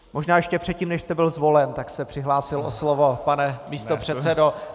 Možná ještě předtím, než jste byl zvolen, tak se přihlásil o slovo, pane místopředsedo.